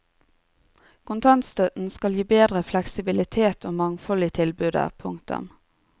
Kontantstøtten skal gi bedre fleksibilitet og mangfold i tilbudet. punktum